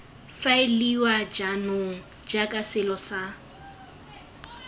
faeliwa jaanong jaaka selo sa